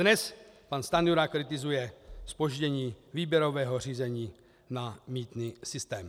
Dnes pan Stanjura kritizuje zpoždění výběrového řízení na mýtný systém.